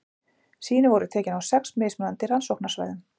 sýni voru tekin á sex mismunandi rannsóknarsvæðum